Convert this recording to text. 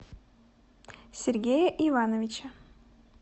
сергея ивановича